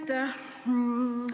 Aitäh!